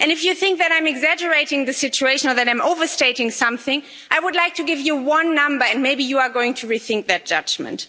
If you think that I'm exaggerating the situation, or that I'm overstating something, I would like to give you one number, and maybe you are going to rethink that judgment.